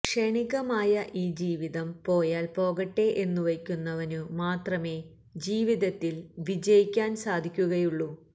ക്ഷണികമായ ഈ ജീവിതം പോയാൽ പോകട്ടെ എന്നു വയ്ക്കുന്നവനു മാത്രമേ ജീവിതത്തിൽ വിജയിക്കാൻ സാധിക്കുകയുള്ളൂ